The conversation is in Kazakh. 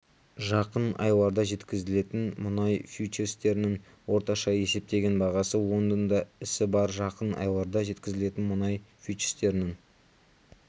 жақын айларда жеткізілетін мұнай фьючерстерінің орташа есептеген бағасы лондонда ісі барр жақын айларда жеткізілетін мұнай фьючерстерінің